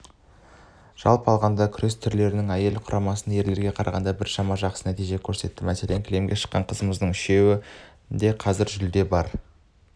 жалпы алғанда күрес түрлерінен әйелдер құрамасы ерлерге қарағанда біршама жақсы нәтиже көрсетті мәселен кілемге шыққан қызымыздың үшеуінде қазірде жүлде бар